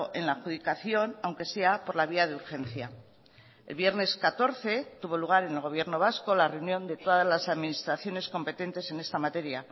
en la adjudicación aunque sea por la vía de urgencia el viernes catorce tuvo lugar en el gobierno vasco la reunión de todas las administraciones competentes en esta materia